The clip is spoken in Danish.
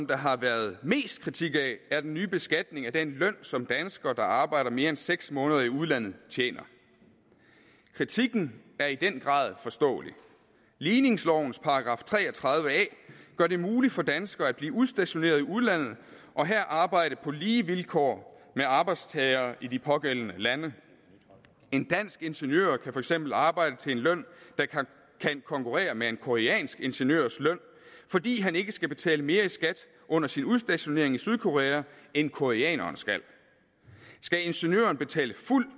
der har været mest kritik af er den nye beskatning af den løn som danskere der arbejder mere end seks måneder i udlandet tjener kritikken er i den grad forståelig ligningslovens § tre og tredive a gør det muligt for danskere at blive udstationeret i udlandet og her arbejde på lige vilkår med arbejdstagere i de pågældende lande en dansk ingeniører kan for eksempel arbejde til en løn der kan konkurrere med en koreansk ingeniørs løn fordi han ikke skal betale mere i skat under sin udstationering i sydkorea end koreaneren skal skal ingeniøren betale fuld